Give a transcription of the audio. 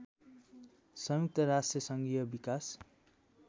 संयुक्त राष्ट्रसङ्घीय विकास